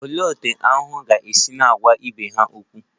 Olee otú aṅu ga-esi na-agwa ibe ha okwu?